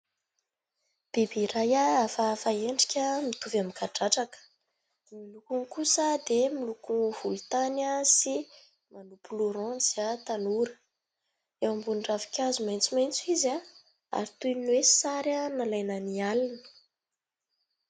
bebe iray a avafahendrika mitovy amykadratraka di milokony kosa dia milokony volotanya sy manopoloraniza tanora eo ambony dravikazo mentso mentso izy ah ary toy ny hoe sarya nalainany alina